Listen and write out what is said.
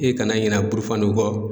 I kana ɲina burufani kɔ.